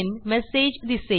message दिसेल